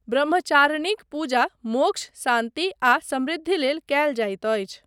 ब्रह्मचारिणीक पूजा मोक्ष, शान्ति आ समृद्धि लेल कयल जाइत अछि।